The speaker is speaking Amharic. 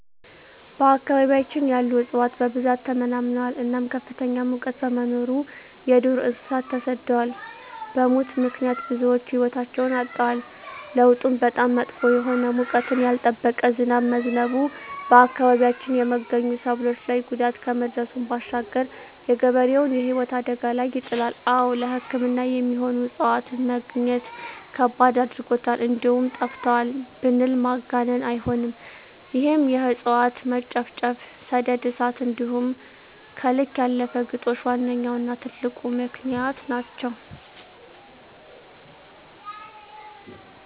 በአካባቢያችን ያሉ እፅዋት በብዛት ተመናምነዋል እናም ከፍተኛ ሙቀት በመኖሩ የዱር እንሰሳት ተሰደዋል በሙት ምክንያት ብዙወች ህይወታቸዉን አጠዋል። ለዉጡም በጣም መጥፎ የሆነ ወቅቱን ያልጠበቀ ዝናብ በመዝነቡ በአካባቢያችን የመገኙ ሰብሎች ላይ ጉዳት ከማድረሱም ባሻገር የገበሬዉን ህይወት አደጋ ላይ ይጥላል። አወ ለሕክምና የሚሆኑ እፅዋትን መግኘት ከባድ አድርጎታል እንደዉም ጠፍተዋል ብንል ማጋነን አይሆንም ይህም የእፅዋት መጨፍጨፍ፣ ሰደድ እሳት እንዲሆም ከልክ ያለፈ ግጦሽ ዋነኛዉና ትልቁ ምክንያት ናቸዉ።